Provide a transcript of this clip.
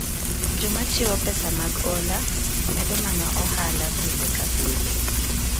Joma chiwo pesa mag ola, medo mana ohala pile ka pile.